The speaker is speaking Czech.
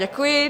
Děkuji.